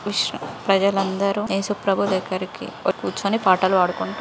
ఉష్ ప్రజలందరూ ఏసుప్రభు దగ్గరికి పోయి కూర్చొని పాటలు పాడు కుంటూ --